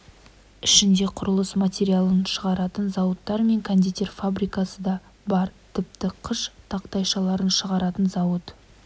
ішінде құрылыс материалын шығаратын зауыттар мен кондитер фабрикасы да бар тіпті қыш тақтайшаларын шығаратын зауыт